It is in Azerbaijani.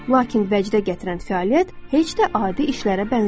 Lakin vəcdə gətirən fəaliyyət heç də adi işlərə bənzəmir.